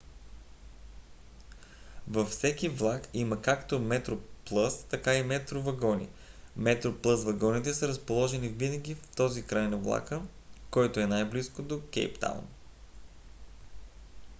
във всеки влак има както metroplus така и metro вагони; metroplus вагоните са разположени винаги в този край на влака който е най-близо до кейптаун